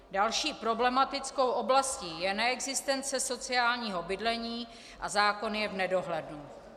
Další problematickou oblastí je neexistence sociálního bydlení a zákon je v nedohlednu.